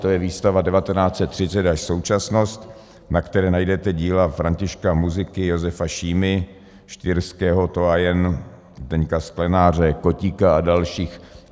To je výstava 1930 až současnost, na které najdete díla Františka Muziky, Josefa Šímy, Štýrského, Toyen, Zdeňka Sklenáře, Kotíka a dalších.